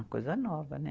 Uma coisa nova, né?